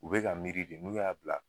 U be ka miiri de n'u y'a bila